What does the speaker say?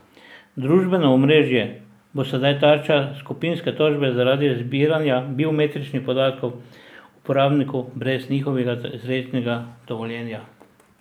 Družbeno omrežje bo sedaj tarča skupinske tožbe zaradi zbiranja biometričnih podatkov uporabnikov brez njihovega izrecnega dovoljenja.